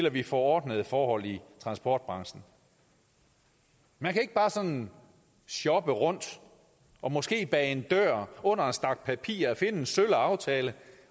at vi får ordnede forhold i transportbranchen man kan ikke bare sådan shoppe rundt og måske bag en dør under en stak papirer finde en sølle aftale